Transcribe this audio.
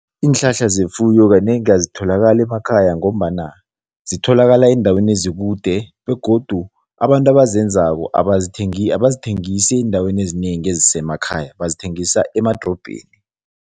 Iinhlahla zefuyo kanengi azitholakali emakhaya ngombana zitholakala eendaweni ezikude begodu abantu abazenzako abazithengisi eendaweni ezinengi ezisemakhaya, bazithengisa emadorobheni.